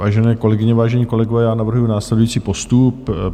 Vážené kolegyně, vážení kolegové, já navrhuji následující postup.